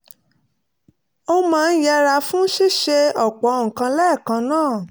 ó máa ń yẹra fún ṣíṣe ọ̀pọ̀ nǹkan lẹ́ẹ̀kan náà